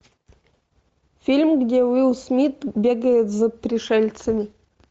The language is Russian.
фильм где уилл смит бегает за пришельцами